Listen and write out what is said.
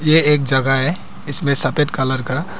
ये एक जगह है इसमें सफेद कलर का--